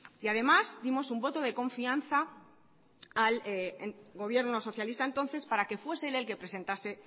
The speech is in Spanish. y además dimos un voto de confianza al gobierno socialista de entonces para que fuese él el que presentase